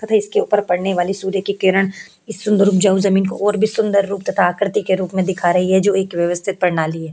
तथा इसके ऊपर पड़ने वाली सूर्य की किरण इस सुन्दर उपजाऊ जमीन को और भी सुन्दर रूप तथा आकृति के रूप में दिखा रही है जो एक व्यवस्थित प्रणाली है।